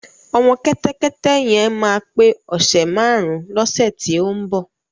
Ọmọ kẹ́tẹ́kẹ́té yẹn máa pé ọ̀sè márun lọ́sè tí ó ń bọ̀.